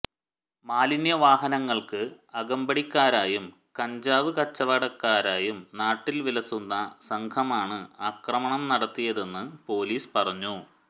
മാലിന്യവാഹനങ്ങൾക്ക് അകമ്പടിക്കാരായും കഞ്ചാവ് കച്ചവടക്കാരായും നാട്ടിൽ വിലസുന്ന സംഘമാണ് ആക്രമണം നടത്തിയതെന്ന് പൊലീസ് പറഞ്ഞു